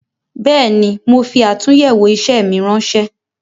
Bẹẹni, mo fi atunyewo isẹ mi ránsẹ́